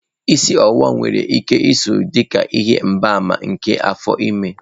Isi ọwụwa nwere ike iso dị ka ihe mgbaàmà nke afọ ime.